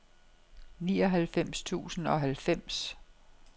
nioghalvfems tusind og halvfems